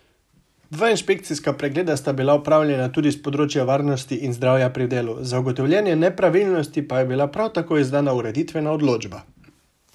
Dva inšpekcijska pregleda sta bila opravljena tudi s področja varnosti in zdravja pri delu, za ugotovljene nepravilnosti pa je bila prav tako izdana ureditvena odločba.